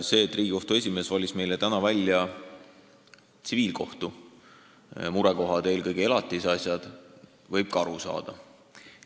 Sellest, et Riigikohtu esimees valis meile täna välja tsiviilkohtu murekohad, eelkõige elatise asjad, võib aru saada.